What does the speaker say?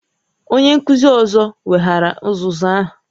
Onye nkuzi ọzọ weghaara uzuzu a